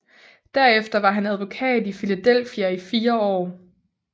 Derefter var han advokat i Philadelphia i fire år